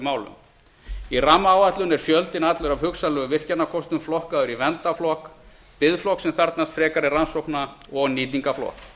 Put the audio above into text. málum í rammaáætlun er fjöldinn allur af hugsanlegum virkjunarkostum flokkaður í verndarflokk biðflokk sem þarfnast frekari rannsókna og nýtingarflokk